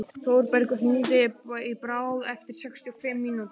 Þórbergur, hringdu í Bárð eftir sextíu og fimm mínútur.